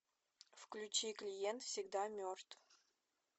включи клиент всегда мертв